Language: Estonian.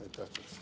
Aitäh!